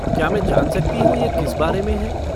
क्या मैं जान सकती हूँ ये किस बारे में है?